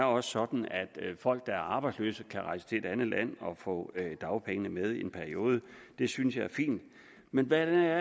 også sådan at folk der er arbejdsløse kan rejse til et andet land og få dagpengene med i en periode det synes jeg er fint men hvordan